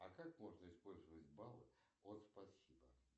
а как можно использовать баллы от спасибо